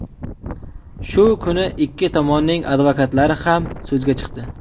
Shu kuni ikki tomonning advokatlari ham so‘zga chiqdi.